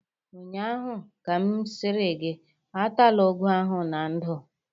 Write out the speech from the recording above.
ụnyaahụ ka m sịrị gị atala ụgụ ahụ na ndụ!